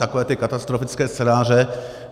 Takové ty katastrofické scénáře...